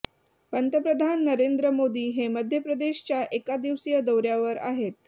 पंतप्रधान नरेंद्र मोदी हे मध्य प्रदेशच्या एक दिवसीय दौऱ्यावर आहेत